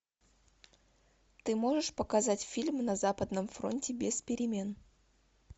ты можешь показать фильм на западном фронте без перемен